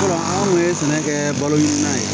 Anw kun ye sɛnɛ kɛ balo in na yen